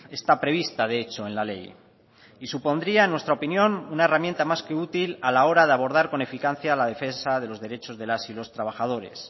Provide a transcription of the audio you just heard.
está prevista de hecho en la ley y supondría en nuestra opinión una herramienta más que útil a la hora de abordar con eficacia la defensa de los derechos de las y los trabajadores